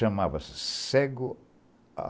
Chamava-se Cego.